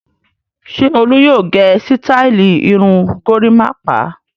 Ṣé Olú yóò gẹ sítáálì irun gorímápá?